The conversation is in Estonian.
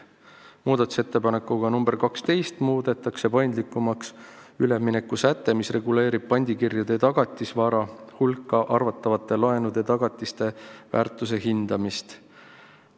Muudatusettepanekuga nr 12 muudetakse paindlikumaks üleminekusäte, mis reguleerib pandikirjade tagatisvara hulka arvatavate laenude tagatiste väärtuse hindamist.